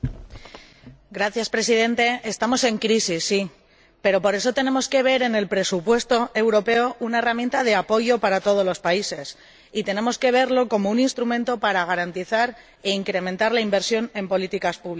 Señor Presidente, estamos en crisis, sí, pero por eso tenemos que ver en el presupuesto europeo una herramienta de apoyo para todos los países, y tenemos que verlo como un instrumento para garantizar e incrementar la inversión en políticas públicas.